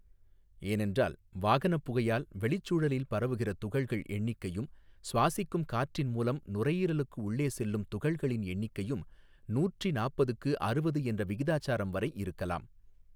ஏனென்றால் வாகனப் புகையால் வெளிச்சூழலில் பரவுகிற துகள்கள் எண்ணிக்கையும் சுவாசிக்கும் காற்றின் மூலம் நுரையீரலுக்கு உள்ளே செல்லும் துகள்களின் எண்ணிக்கையும் நூற்றி நாப்பதுக்கு அறுவது என்ற விகிதாசாரம்வரை இருக்கலாம்.